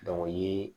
o ye